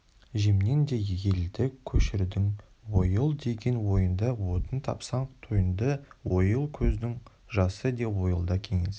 жемнен де елді көшірдің ойыл деген ойыңды отын тапсаң тойынды ойыл көздің жасы еді ойылда кеңес